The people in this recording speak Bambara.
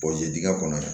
diig kɔnɔ